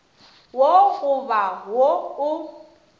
wo go ba wo o